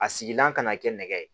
A sigilan kana kɛ nɛgɛ ye